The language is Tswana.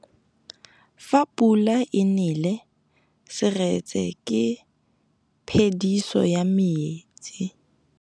Fa pula e nelê serêtsê ke phêdisô ya metsi.